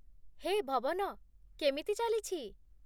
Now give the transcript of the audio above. ହେ ଭବନ ! କେମିତି ଚାଲିଛି?